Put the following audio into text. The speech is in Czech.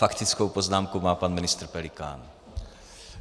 Faktickou poznámku má pan ministr Pelikán.